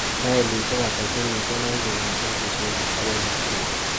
Mailisiek ata chemiten eng kong'eten kisumu agoi nakuru